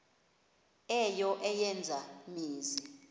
eyo eya mizi